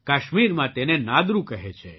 કાશ્મીરમાં તેને નાદરુ કહે છે